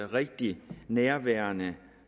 rigtigt nærværende